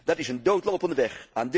Dat is een doodlopende weg.